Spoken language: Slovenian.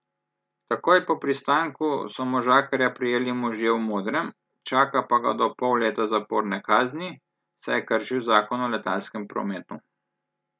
Takoj po pristanku so možakarja prijeli možje v modrem, čaka pa ga do pol leta zaporne kazni, saj je kršil zakon o letalskem prometu.